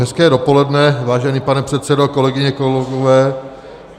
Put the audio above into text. Hezké dopoledne, vážený pane předsedo, kolegyně, kolegové.